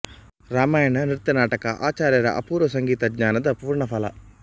ರಾಮಾಯಣ ನೃತ್ಯ ನಾಟಕ ಆಚಾರ್ಯರ ಅಪೂರ್ವ ಸಂಗೀತ ಜ್ಞಾನದ ಪೂರ್ಣ ಫಲ